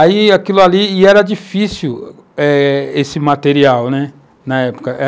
Aí aquilo ali, e era difícil eh esse material, né, na época.